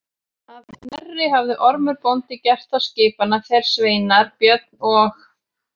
Að Knerri hafði Ormur bóndi gert þá skipan að þeir sveinar Björn og